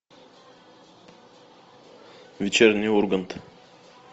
вечерний ургант